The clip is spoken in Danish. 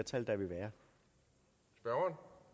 gøre